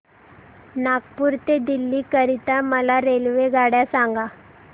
नागपुर ते दिल्ली करीता मला रेल्वेगाड्या सांगा